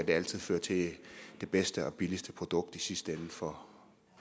det altid fører til det bedste og billigste produkt i sidste ende for